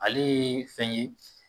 Ale ye fɛn ye.